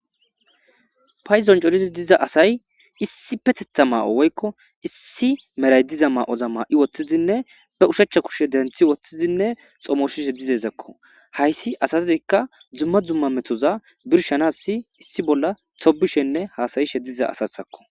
Paydon coridi diza asay issipeteththa ma'o woykko issi mera diza ma'oza woththidinne be ushachcha kushe denththi woththidinne xomososhe dizayssako. Hayssi asazikka dumma dumma metoza birshanaas issi bolla tobbishenne haasa'ishe dizayssa asatakko.